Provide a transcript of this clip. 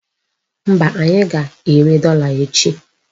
Mba, anyị ga-ere dọla echi.